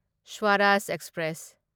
Swaraj express